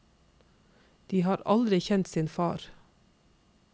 De har aldri kjent sin far.